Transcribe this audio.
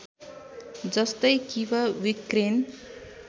जस्तै Kyiv Ukraine